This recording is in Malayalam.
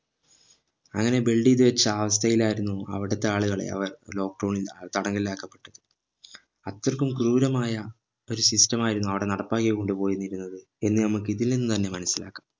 അങ്ങനെ build ചെയ്ത് വെച്ച അവസ്ഥയിൽ ആയിരുന്നു അവിടത്തെ ആളുകളെ അവർ lockdown ഇൽ തടങ്കലിലാക്കപ്പെട്ടത് അത്രക്കും ക്രൂരമായ ഒരു system ആയിരുന്നു ആട നടപ്പാക്കി കൊണ്ട് പോയിരുന്നത് എന്ന് നമ്മക്ക് ഇതിൽ നിന്നു തന്നെ മനസിലാക്കാം